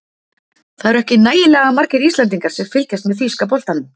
Það eru ekki nægilega margir Íslendingar sem fylgjast með þýska boltanum.